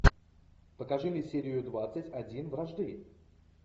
покажи мне серию двадцать один вражды